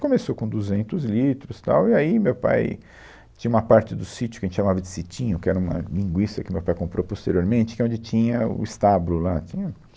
começou com duzentos litros, tal, e aí meu pai... Tinha uma parte do sítio que a gente chamava de Sitinho, que era uma linguiça que meu pai comprou posteriormente, que é onde tinha o estábulo lá, tinha...